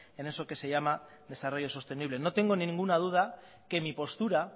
en eso que se llama desarrollo sostenible no tengo ninguna duda que mi postura